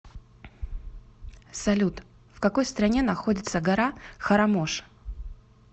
салют в какой стране находится гора харамош